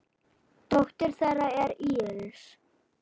Dóttir þeirra er Íris.